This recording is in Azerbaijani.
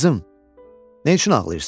Qızım, nə üçün ağlayırsan?